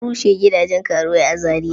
Ana rushe gidajen karuwai a Zariya.